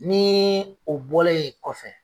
Ni o bɔ la ye kɔfɛ.